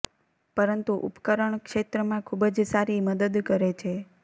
પરંતુ ઉપકરણ ક્ષેત્રમાં ખૂબ જ સારી મદદ કરે છે